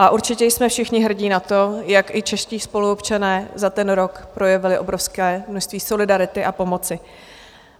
A určitě jsme všichni hrdí na to, jak i čeští spoluobčané za ten rok projevili obrovské množství solidarity a pomoci.